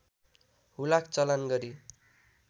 हुलाक चलान गरी